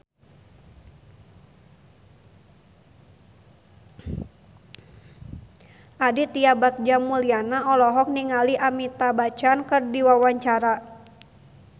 Aditya Bagja Mulyana olohok ningali Amitabh Bachchan keur diwawancara